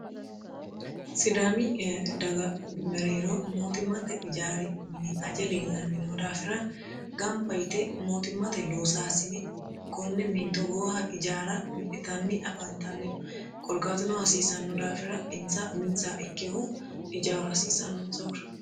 sidaami daga mereero mootimmate ijaari mini aje leellannino daafira gamba yite mootimmate loosaasini konne mini togooha ijaara minitanni afaantannino korkaatino hasiisanno daafira insa uminsa ikkehu ijaaro hasiisannonsahura